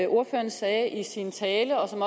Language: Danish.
ordføreren sagde i sin tale og som